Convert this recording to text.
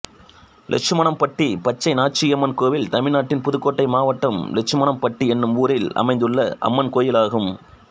லெட்சுமணம்பட்டி பச்சைநாச்சியம்மன் கோயில் தமிழ்நாட்டில் புதுக்கோட்டை மாவட்டம் லெட்சுமணம்பட்டி என்னும் ஊரில் அமைந்துள்ள அம்மன் கோயிலாகும்